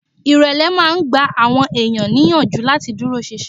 Ìrẹ̀lẹ̀ máa ń gba àwọn èèyàn níyànjú láti dúró sinsin